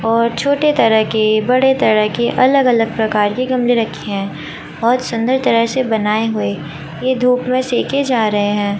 और छोटे तरह के बड़े तरह के अलग अलग प्रकार के गमले रखे हैं। बहोत सुंदर तरह से बनाए हुए। ये धूप में सेके जा रहे हैं।